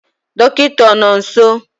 dọkịta ọ nọ nso?